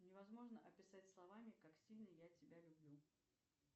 невозможно описать словами как сильно я тебя люблю